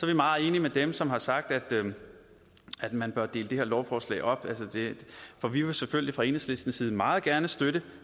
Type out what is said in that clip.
vi meget enige med dem som har sagt at man bør dele det her lovforslag op for vi vil selvfølgelig fra enhedslistens side meget gerne støtte